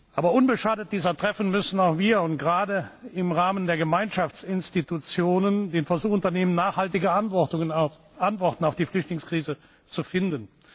Aber unbeschadet dieser Treffen müssen auch wir, und gerade im Rahmen der Gemeinschaftsinstitutionen, den Versuch unternehmen, nachhaltige Antworten auf die Flüchtlingskrise zu finden.